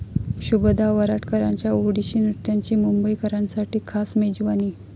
शुभदा वराडकरांच्या ओडिसी नृत्याची मुंबईकरांसाठी खास 'मेजवानी'